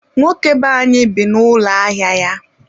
nwoke be anyị bi n'ụlọ ahịa ya.